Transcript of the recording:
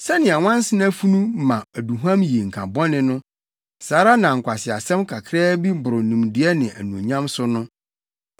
Sɛnea nwansena funu ma aduhuam yi nka bɔne no, saa ara na nkwaseasɛm kakraa bi boro nimdeɛ ne anuonyam so no.